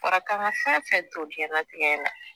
Fɔra k'an ka fɛn fɛn to jɛnlatigɛ in na.